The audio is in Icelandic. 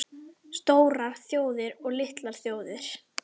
STÓRAR ÞJÓÐIR OG LITLAR ÞJÓÐIR